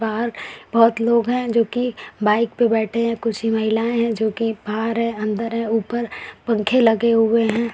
बाहर बहुत लोग है जो कि बाइक पे बैठे है। कुछ महिलाएं है जो कि बाहर है अंदर है। उपर पंखे लगे हुए है।